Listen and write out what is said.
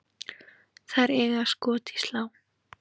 Þær eiga skot í slá.